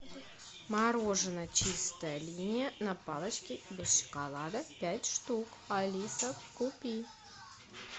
мороженое чистая линия на палочке без шоколада пять штук алиса купи